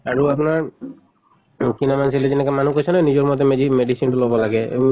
আৰু আপনাৰ যেনেকে মানুহ কৈছে নহয় নিজৰ মতে মেদি medicine টো লʼব লাগে উম